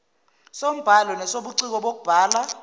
sombhalo nesobuciko bokubhala